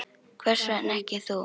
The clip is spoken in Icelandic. Hvers vegna ekki þú?